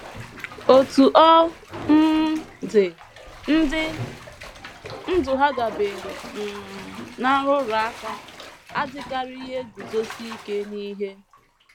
“ Otú ọ um dị, ndị ndụ ha dabeere um ná nrụrụ aka adịkarịghị eguzosi ike n’ihe.